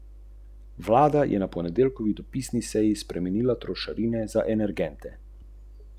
Kot bi nekoga, ki ju gleda od zunaj, hotela prepričati, da ni razloga za preplah.